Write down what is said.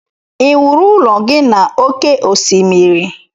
ị wuru ụlọ gị na oke osimiri?